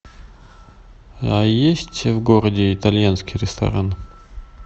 есть в городе итальянский ресторан